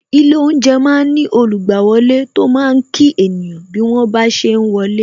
Ilé oúnjẹ máa ń ní olugbawole tó máa kí ènìyàn bí wọ́n ba ṣe ń wọlé